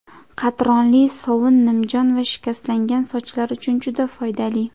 Qatronli sovun nimjon va shikastlangan sochlar uchun juda foydali.